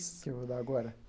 Que eu vou dar agora?